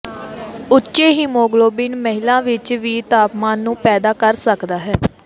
ਉੱਚੇ ਹੀਮੋਗਲੋਬਿਨ ਮਹਿਲਾ ਵਿੱਚ ਵੀ ਤਾਪਮਾਨ ਨੂੰ ਪੈਦਾ ਕਰ ਸਕਦਾ ਹੈ